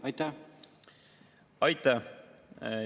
Aitäh!